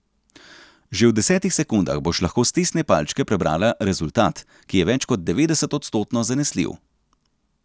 Že v desetih sekundah boš lahko s testne palčke prebrala rezultat, ki je več kot devetdeset odstotno zanesljiv.